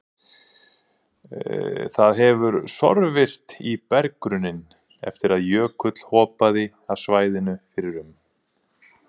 Það hefur sorfist í berggrunninn eftir að jökull hopaði af svæðinu fyrir um